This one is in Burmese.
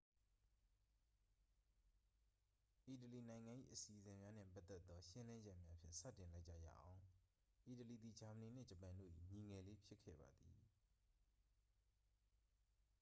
"အီတလီနိုင်ငံ၏ အစီအစဉ်များနှင့်ပတ်သက်သော ရှင်းလင်းချက်များဖြင့် စတင်လိုက်ကြရအောင်။ အီတလီသည် ဂျာမနီနှင့် ဂျပန်တို့၏ "ညီငယ်လေး" ဖြစ်ခဲ့ပါသည်။